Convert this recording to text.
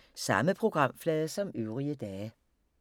Samme programflade som øvrige dage